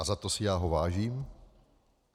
A za to si ho já vážím.